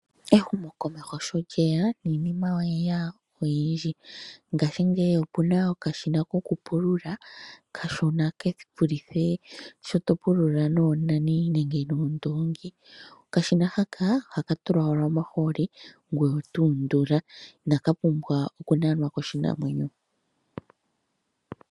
Ehumokomeho sho lye ya niinima oye ya oyindji. Ngaashingeyi opu na okashina kokupulula okashona ke vulithe sho to pula noonani nenge noondoongi. Okashina haka ohaka tulwa owala omahooli ngoye oto undula, inaka pumbwa okunanwa koshinamwenyo.